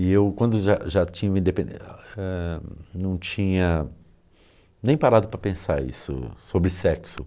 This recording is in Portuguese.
E eu, quando já já tinha ah , não tinha nem parado para pensar isso, sobre sexo.